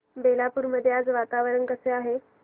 बेलापुर मध्ये आज वातावरण कसे आहे